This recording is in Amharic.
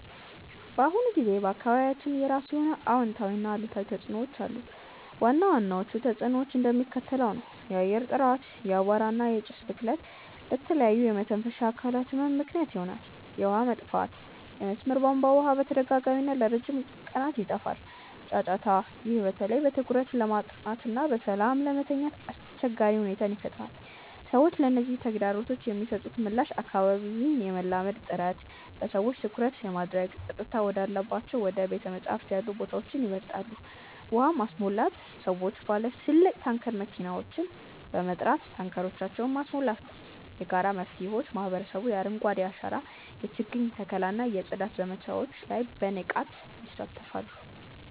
በአሁኑ ጊዜ በአካባቢያችን የራሱ የሆነ አዎንታዊና አሉታዊ ተጽዕኖዎች አሉት። ዋና ዋናዎቹ ተጽዕኖዎች እንደሚከተለው ነው፦ የአየር ጥራት፦ የአቧራ እና የጭስ ብክለት ለተለያዩ የመተንፈሻ አካላት ህመም ምክንያት ይሆናል። የውሃ መጥፋት፦ የመስመር የቧንቧ ውሃ በተደጋጋሚና ለረጅም ቀናት ይጠፋል። ጫጫታ፦ ይህ በተለይ በትኩረት ለማጥናትና በሰላም ለመተኛት አስቸጋሪ ሁኔታን ይፈጥራል። ሰዎች ለነዚህ ተግዳሮቶች የሚሰጡት ምላሽ አካባቢን የማላመድ ጥረት፦ ሰዎች ትኩረት ለማድረግ ጸጥታ ወዳላቸው እንደ ቤተ-መጻሕፍት ያሉ ቦታዎችን ይመርጣሉ። ውሃ ማስሞላት፦ ሰዎች ባለ ትልቅ ታንከር መኪናዎችን በመጥራት ታንከሮቻቸውን ማስሞላት ነው። የጋራ መፍትሄዎች፦ ማህበረሰቡ የአረንጓዴ አሻራ የችግኝ ተከላ እና የጽዳት ዘመቻዎች ላይ በንቃት ይሳተፋል።